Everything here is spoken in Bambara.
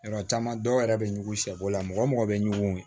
Yɔrɔ caman dɔw yɛrɛ bɛ ɲugu sɛbana mɔgɔ bɛ ɲugu